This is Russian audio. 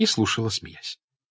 и слушала смеясь